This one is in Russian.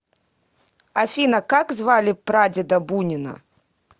афина как звали прадеда бунина